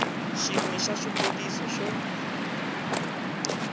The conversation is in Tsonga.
xin we xa swivutiso swo